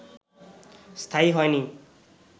স্থায়ী হয়নি